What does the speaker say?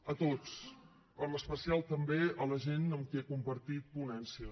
a tots en especial també a la gent amb qui he compartit ponència